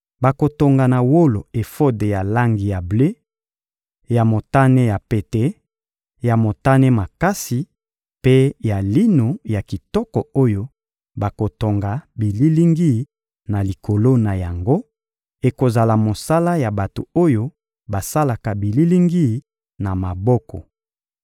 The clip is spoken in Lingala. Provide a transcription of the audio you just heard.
Bakotonga na wolo efode ya langi ya ble, ya motane ya pete, ya motane makasi mpe na lino ya kitoko oyo bakotonga bililingi na likolo na yango; ekozala mosala ya bato oyo basalaka bililingi na maboko.